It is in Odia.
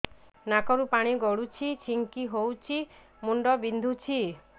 ନାକରୁ ପାଣି ଗଡୁଛି ଛିଙ୍କ ହଉଚି ମୁଣ୍ଡ ବିନ୍ଧୁଛି